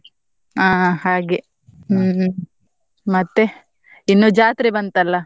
ಆ ಹಾಗೆ ಹ್ಮ್ ಮತ್ತೆ, ಇನ್ನು ಜಾತ್ರೆ ಬಂತಲ್ಲ?